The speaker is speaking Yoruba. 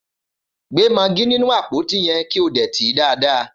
Gbé magí nínú àpótí yẹn, kí o dè tìí dáadáa!